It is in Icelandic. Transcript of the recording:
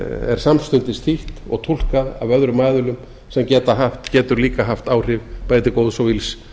er samstundis þýtt og túlkað af öðrum aðilum sem getur líka haft áhrif bæði til góðs og ills